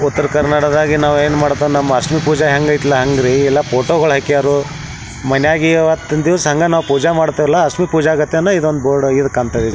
ಉತ್ತರ್ ಕರ್ನಾಟಕದಾಗೆ ನಾವ್ ಏನ್ ಮಾಡ್ತಾವ್ ನಮ್ ಅರಶಿನ ಪೂಜೆ ಹೆಂಗ್ ಅಯ್ತಲ ಹಂಗೆ ಇಲ್ಲ ಫೋಟೋ ಗಳು ಹಾಕ್ಯರು ಮನ್ಯಾಗೆ ಈವತ್ತಿನ್ ದಿವಸ್ ಹಂಗ ನಾವ್ ಪೂಜಾ ಮಾಡ್ತೇವ್ಲ್ಯಾ ಅಶ್ಮಿ ಪೂಜಾ ಗತ್ಲೆನ ಈದ್ ಒಂದ್ ಬೋರ್ಡ್ ಒಳಗ್ ಈದ್ ಕಾಂತೇತ್ ಇದ್ --